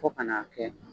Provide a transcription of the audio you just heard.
Fo ka n'a kɛ